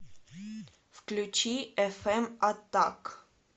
включи эфэм аттак